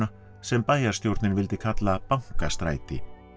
sem bæjarstjórnin vildi kalla Bankastræti